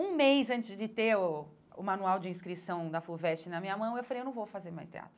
Um mês antes de ter o o manual de inscrição da FUVEST na minha mão, eu falei, não vou fazer mais teatro.